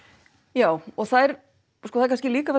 já og þær það er kannski líka